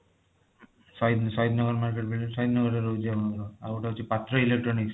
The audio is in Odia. ସହିଦ ସହିଦ ନଗର market building ରେ ସହିଦ ନଗର ରେ ରହୁଛି ଆପଣଙ୍କର ଆଉ ଗୋଟେ ହଉଛି ପାତ୍ର electronics